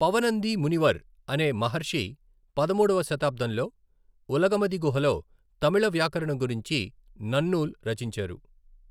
పవనంది మునివర్ అనే మహర్షి పదమూడవ శతాబ్దంలో ఉలగమది గుహలో తమిళ వ్యాకరణం గురించి నన్నూల్ రచించారు.